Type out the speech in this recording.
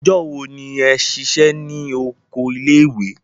Ọjọ́ wo ni ẹ ṣiṣẹ́ ní oko ilé ìwé?